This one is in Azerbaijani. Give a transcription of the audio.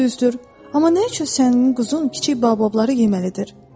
Düzdür, amma nə üçün sənin quzun kiçik Baobabları yeməlidir?